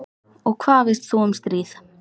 Og hvað veist þú um stríð?